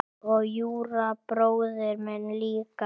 Og Júra bróðir minn líka.